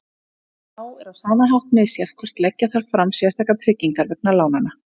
Þá er á sama hátt misjafnt hvort leggja þarf fram sérstakar tryggingar vegna lánanna.